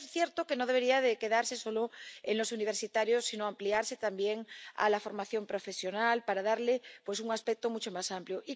Pero es cierto que no debería quedarse solo en los universitarios, sino ampliarse también a la formación profesional para darle un aspecto mucho más amplio.